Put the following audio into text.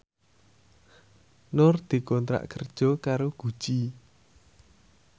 Nur dikontrak kerja karo Gucci